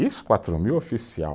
Isso, quatro mil oficial.